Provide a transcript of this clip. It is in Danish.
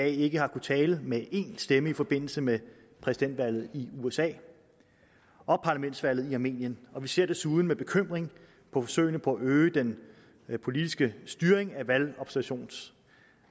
ikke har kunnet tale med én stemme i forbindelse med præsidentvalget i usa og parlamentsvalget i armenien og vi ser desuden med bekymring på forsøgene på at øge den politiske styring